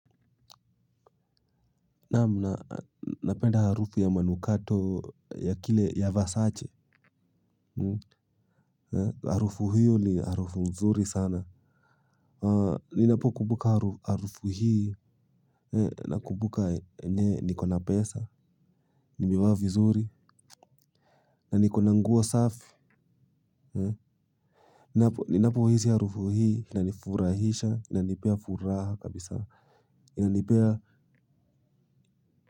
Naam na napenda harufu ya manukato ya kile ya versace. Harufu hiyo ni harufu mzuri sana. Ninapokumbuka harufu hii nakumbuka enyewe nikona pesa. Nimevaa vizuri. Na nikona nguo safi. Ninapo hisi harufu hii inanifurahisha, inanipea furaha kabisa inanipea.